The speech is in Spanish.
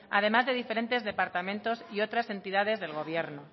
además de diferentes departamentos y otras entidades del gobierno